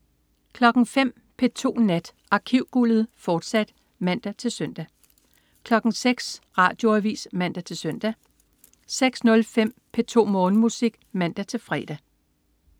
05.00 P2 Nat. Arkivguldet, fortsat (man-søn) 06.00 Radioavis (man-søn) 06.05 P2 Morgenmusik (man-fre)